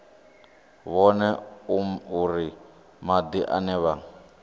vhone uri madi ane vha